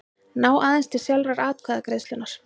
ná aðeins til sjálfrar atkvæðagreiðslunnar.